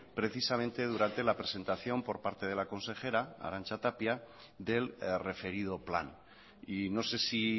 precisamente durante la presentación por parte de la consejera arantxa tapia del referido plan y no se si